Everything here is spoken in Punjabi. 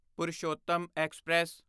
ਪੁਰਸ਼ੋਤਮ ਐਕਸਪ੍ਰੈਸ